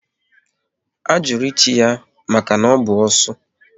A jụrụ ịchi ya maka na ọ bụ osu